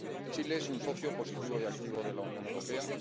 Chile es un socio positivo y activo de la Unión Europea.